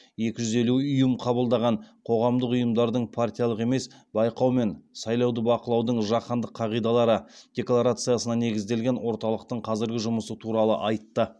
екі жүз елу ұйым қабылдаған қоғамдық ұйымдардың партиялық емес байқау мен сайлауды бақылаудың жаһандық қағидалары декларациясына негізделген орталықтың қазіргі жұмысы туралы айтты